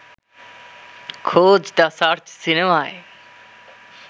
খোঁজ the search সিনেমায়